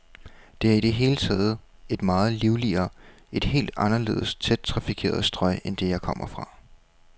Det er i det hele taget et meget livligere, et helt anderledes tæt trafikeret strøg end det, jeg kom fra.